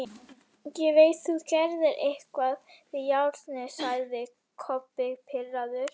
Ég veit þú gerðir eitthvað við járnið, sagði Kobbi pirraður.